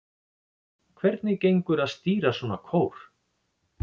Hvernig gengur að stýra svona kór?